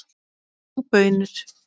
Og baunir.